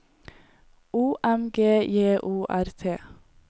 O M G J O R T